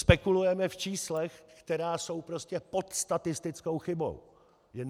Spekulujeme v číslech, která jsou prostě pod statistickou chybou.